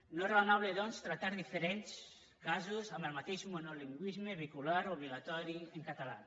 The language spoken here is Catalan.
no és raonable doncs tractar diferents casos amb el mateix monolingüisme vehicular obligatori en català